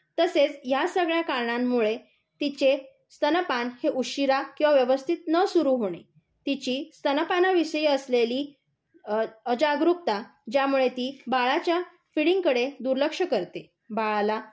तसेच ह्या सगळ्या कारणांमुळे तिचे स्तनपान उशिरा किंवा व्यवस्थित न सुरू होणे, तिची स्तनपानाविषयी असलेली अ जागरूकता ज्यामुळे ती बाळाच्या फीडिंग कडे दुर्लक्ष करते. बाळाला